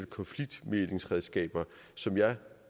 konfliktmæglingsredskaber som jeg